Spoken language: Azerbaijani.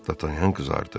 Dartanyan qızardı.